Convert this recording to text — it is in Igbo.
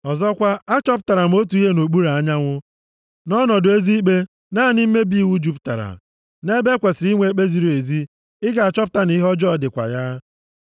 Ọzọkwa, achọpụtara m otu ihe nʼokpuru anyanwụ, na ọnọdụ ezi ikpe naanị mmebi iwu jupụtara, nʼebe e kwesiri inwe ikpe ziri ezi ị ga-achọpụta na ihe ọjọọ dịkwa ya.